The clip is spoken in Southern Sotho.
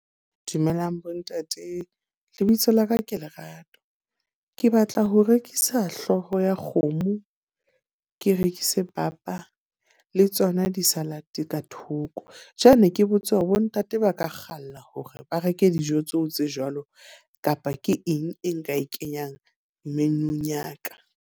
Dumelang bo ntate, lebitso la ka ke Lerato. Ke batla ho rekisa hlooho ya kgomo, ke rekise papa le tsona di-salad ka thoko. Jwale ke botse hore bontate ba ka kgalla hore ba reke dijo tseo tse jwalo, kapa ke eng e nka e kenyang menu-ng ya ka?